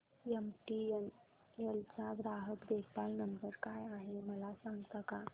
MTNL चा ग्राहक देखभाल नंबर काय आहे मला सांगता का